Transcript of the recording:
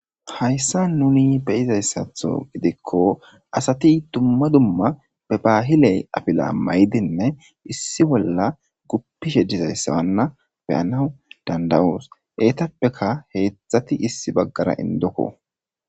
Hayssa nuni be izayssatho gidikko asati dumma dumma be baahiley apila maydinne issi bolla guppishe dizayssawanna beyanawu dandawoos eetappeka heetthati issi baggara indokko.